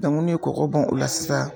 ne kɔkɔ bɔn o la sisan